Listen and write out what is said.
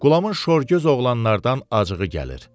Qulamın şorgöz oğlanlardan acığı gəlir.